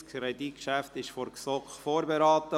Das Kreditgeschäft wurde von der GSoK vorberaten.